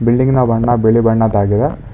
Building ನ ಬಣ್ಣ ಬಿಳಿ ಬಣ್ಣದಾಗಿದೆ.